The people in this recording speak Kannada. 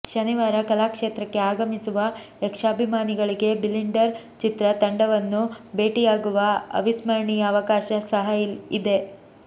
ಶನಿವಾರ ಕಲಾಕ್ಷೇತ್ರಕ್ಕೆ ಆಗಮಿಸುವ ಯಕ್ಷಾಭಿಮಾನಿಗಳಿಗೆ ಬಿಲಿಂಡರ್ ಚಿತ್ರ ತಂಡವನ್ನು ಭೇಟಿಯಾಗುವ ಅವಿಸ್ಮರಣೀಯ ಅವಕಾಶ ಸಹ ಇದೆ